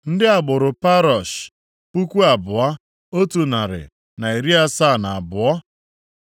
Ndị agbụrụ Parosh, puku abụọ, otu narị na iri asaa na abụọ (2,172),